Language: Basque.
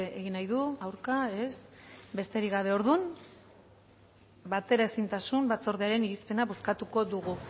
egin nahi du aurka ez besterik gabe orduan bateraezintasun batzordearen irizpena bozkatuko dugu